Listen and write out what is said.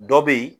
Dɔ be yen